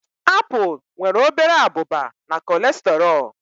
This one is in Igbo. Apple nwere obere abụba na cholesterol